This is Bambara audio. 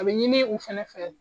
A bɛ ɲini u fɛnɛ fɛ